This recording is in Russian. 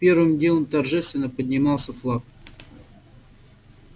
первым делом торжественно поднимался флаг